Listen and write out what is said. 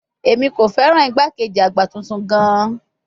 Emi ko fẹran igbakeji agba tuntun gaan